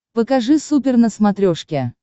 покажи супер на смотрешке